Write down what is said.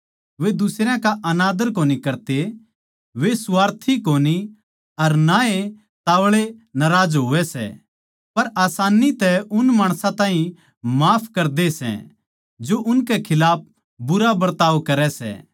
वे दुसरयां का अनादर कोनी करते वे स्वार्थी कोनी अर ना ए ताव्ळे नाराज होवै सै पर आसान्नी तै उन माणसां ताहीं माफ करदे सै जो उनके खिलाफ बुरा बरताव करै सै